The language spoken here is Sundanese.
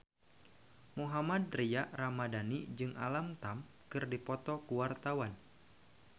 Mohammad Tria Ramadhani jeung Alam Tam keur dipoto ku wartawan